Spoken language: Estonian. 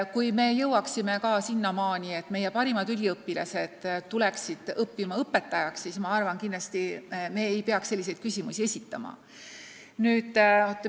Kui me jõuaksime ka sinnamaani, et meie parimad noored sooviksid õppida õpetajaks, siis kindlasti me ei peaks selliseid küsimusi esitama.